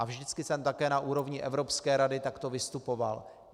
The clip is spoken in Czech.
A vždycky jsem také na úrovni Evropské rady takto vystupoval.